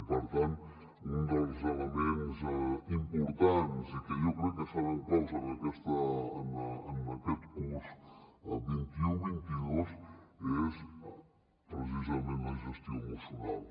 i per tant un dels elements importants i que jo crec que seran claus en aquest curs vint un vint dos és precisament la gestió emocional